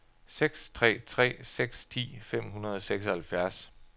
seks tre tre seks ti fem hundrede og seksoghalvfjerds